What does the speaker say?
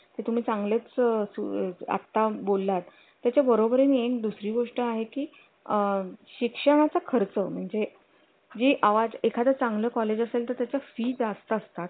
ते तुम्ही चांगलेच असू आता बोललात त्याच्या बरोबर येईल दुसरी गोष्ट आहे की आह शिक्षणाचा खर्च म्हणजे जी आवाज एखाद्या चांगल्या कॉलेज असेल तर त्याचा fees जास्त असतात